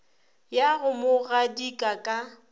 ya go mo gadika ka